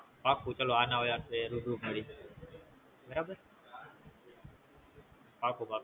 પાકું તો આના હવે આપડે રૂબરૂ મળયી બરાબર